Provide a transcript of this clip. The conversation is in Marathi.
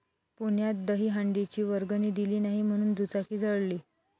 पुण्यात दहीहंडीची वर्गणी दिली नाही म्हणून दुचाकी जाळली